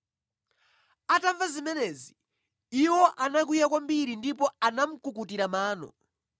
Atamva zimenezi, iwo anakwiya kwambiri ndipo anamukukutira mano.